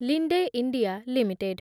Linde India limited